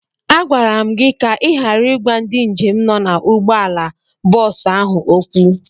Agwara m gị ka ị ghara ịgwa ndị njem nọ na ụgbọala bọọsụ ahụ okwu!